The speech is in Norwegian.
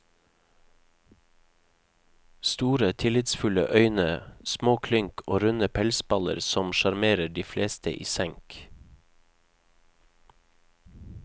Store, tillitsfulle øyne, små klynk og runde pelsballer som sjarmerer de fleste i senk.